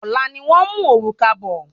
Ọlá ni wón mú òrùka bọ